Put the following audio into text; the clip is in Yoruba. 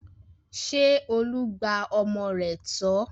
Ṣé Olú gba ọmọ rẹ̀ tọ́?